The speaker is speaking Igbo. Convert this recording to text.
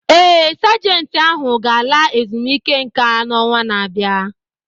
Ee, Sajentị ahụ ga-ala ezumike nka n’ọnwa na-abịa